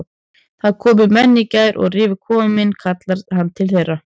Það komu menn í gær og rifu kofann minn kallar hann til þeirra.